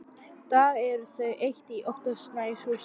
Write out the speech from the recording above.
dag eru þau eitt í óttasængurhúsi.